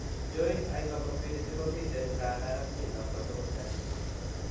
Joint hypermobility komiten nganda ratyinat kotugul en